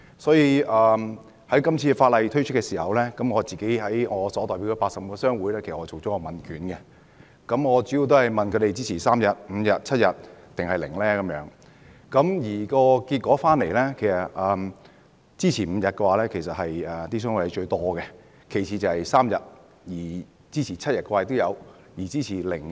所以，今次法例提出的時候，我向自己所代表的80個商會發出了問卷，主要問他們認為侍產假的天數應該是3天、5天、7天抑或零，結果最多人支持5天，其次是3天，當中也有支持7天和零。